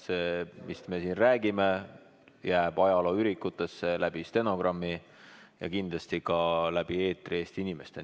See, mis me siin räägime, jääb ajalooürikutesse, stenogrammi, ja kindlasti jõuab läbi eetri ka Eesti inimesteni.